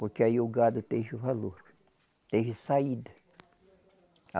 Porque aí o gado teve o valor, teve saída.